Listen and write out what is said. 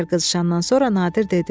Bir qədər qızışandan sonra Nadir dedi: